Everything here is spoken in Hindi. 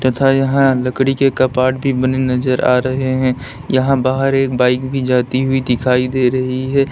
तथा यहां लकड़ी के कपाट भी बने नजर आ रहे हैं यहां बाहर एक बाइक भी जाती हुई दिखाई दे रही है।